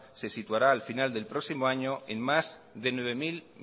se situará a final del próximo año en más de nueve mil